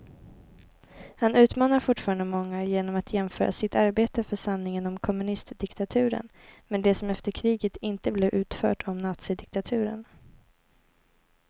Han utmanar fortfarande många genom att jämföra sitt arbete för sanningen om kommunistdiktaturen med det som efter kriget inte blev utfört om nazidiktaturen.